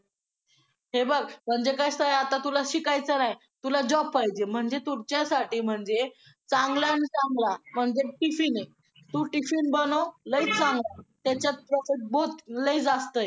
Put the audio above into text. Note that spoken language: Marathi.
आणि शाळेतून कितीही उशीर पर्यंत घरी परतलो तरी आई रागवत तर नाहीच